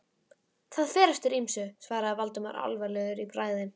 Það fer eftir ýmsu- svaraði Valdimar alvarlegur í bragði.